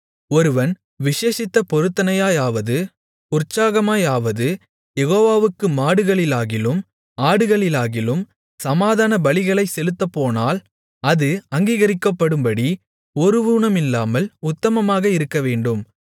ஒருவன் விசேஷித்த பொருத்தனையாயாவது உற்சாகமாயாவது யெகோவாவுக்கு மாடுகளிலாகிலும் ஆடுகளிலாகிலும் சமாதானபலிகளைச் செலுத்தப்போனால் அது அங்கீகரிக்கப்படும்படி ஒரு ஊனமில்லாமல் உத்தமமாக இருக்கவேண்டும்